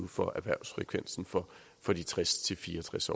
for erhvervsfrekvensen for for de tres til fire og tres